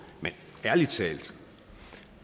men ærlig talt